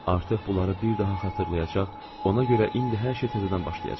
Artıq bunları bir daha xatırlayacaq, ona görə indi hər şey təzədən başlayacaq.